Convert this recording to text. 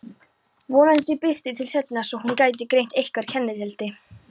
Vonandi birti til seinna svo hún gæti greint einhver kennileiti.